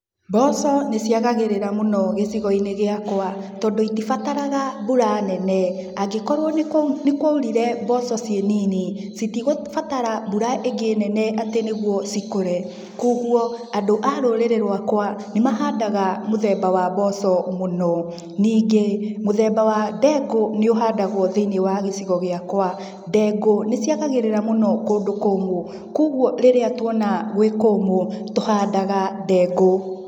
Mboco nĩciagagĩrĩra mũno gĩcigoinĩ gĩakwa tondũ itibataraga mbũra nene angĩkorwo nĩkwaurire mboco ciĩ nini citigũ batara mbura ĩngĩ nene atĩ nĩguo cikũre koguo andũ a rũrĩrĩ rwakwa nĩmahandaga mũthemba wa mboco mũno, ningĩ mũthemba wa ndengũ nĩũhandawo thĩinĩ wa gĩcigo gĩakwa ndengũ nĩciagagĩrĩra mũno kũndũ kũmũ koguo rĩrĩa tuona gwĩ kũmũ tuhandaga ndengũ.